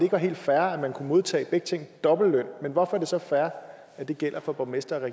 var helt fair at kunne modtage dobbeltløn men hvorfor er det så fair at det gælder for borgmestre